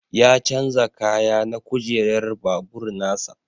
Ya chanza kaya na kujerar babur nasa.